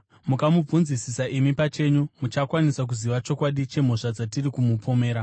Mukamubvunzisisa imi pachenyu muchakwanisa kuziva chokwadi chemhosva dzatiri kumupomera.”